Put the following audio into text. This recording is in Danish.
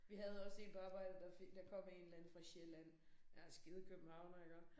Vi havde også én på arbejdet der fik der kom en eller anden fra Sjælland. Ja skide københavner iggå